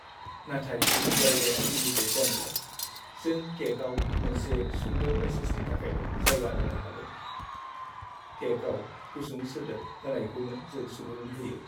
नाथाय जायगाया लिमिटेड जानायलाय, जों केकआव मोनसे सुंद' मेसेजनि थाखायल' जायगा होनो हागोन। केकआव गुसुं सोदोब होनायखौनो जों सुबुरुन होयो।